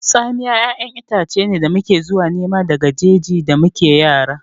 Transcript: Tsamiya ƴaƴan itace ne da muke zuwa nema daga jeji da muke yara